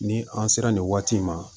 Ni an sera nin waati in ma